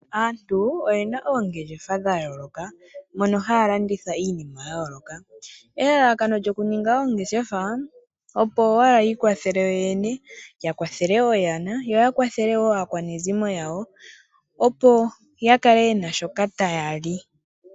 Aantu oyena oongeshefa dha yooloka mono haya landitha iini ya yooloka. Elalakano lyokuninga oongeshefa okwiikwathela yoyene, oyana, aakwanezimo yawo oshowo ya kale yena shoka taya li.